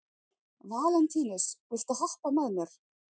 Valentínus, viltu hoppa með mér?